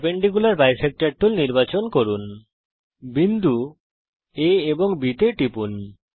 perpendicular bisector tool নির্বাচন করুন বিন্দু A এবং B তে টিপুন